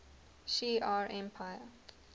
shi ar empire